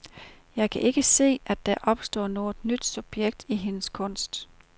Jeg kan ikke se, at der opstår noget nyt subjekt i hendes kunst.